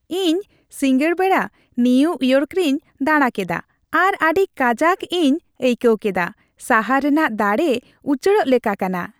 ᱤᱧ ᱥᱤᱸᱜᱟᱹᱲ ᱵᱮᱲᱟ ᱱᱤᱭᱩ ᱤᱭᱚᱨᱠ ᱨᱮᱧ ᱫᱟᱲᱟᱠᱮᱫᱟ ᱟᱨ ᱟᱹᱰᱤ ᱠᱟᱡᱟᱠ ᱤᱧ ᱟᱹᱭᱠᱟᱹᱣ ᱠᱮᱫᱟ ᱾ ᱥᱟᱦᱟᱨ ᱨᱮᱱᱟᱜ ᱫᱟᱲᱮ ᱩᱪᱟᱹᱲᱚᱜ ᱞᱮᱠᱟ ᱠᱟᱱᱟ ᱾